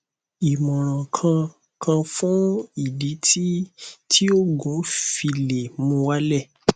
imoran kan kan fun idi ti ti oogun o file muwale